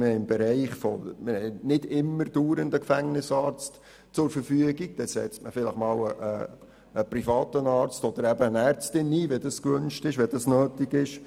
Wir haben nicht ständig einen Gefängnisarzt zur Verfügung und dann wird vielleicht einmal ein privater Arzt oder eine Ärztin eingesetzt, wenn das nötig ist.